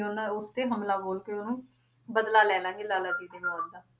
ਉਹਨਾਂ ਉਸ ਤੇ ਹਮਲਾ ਬੋਲ ਕੇ ਉਹਨੂੰ ਬਦਲਾ ਲੈ ਲਵਾਂਗੇ ਲਾਲਾ ਜੀ ਦੀ ਮੌਤ ਦਾ